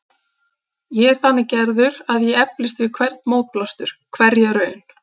Ég er þannig gerður að ég eflist við hvern mótblástur, hverja raun.